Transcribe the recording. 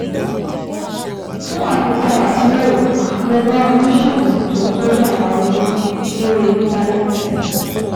Fún àfikún àtúnyẹ̀wò, lọ bá oníṣègùn tó ń tọ́jú àwọn arúgbó lórí Íńtánẹ́ẹ̀tì